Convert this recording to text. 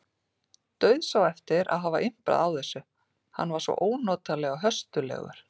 Dauðsá eftir að hafa imprað á þessu, hann var svo ónotalega höstugur.